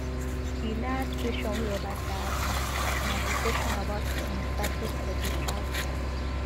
di last kwesion wey obasa answer na di kwesion about im status for di house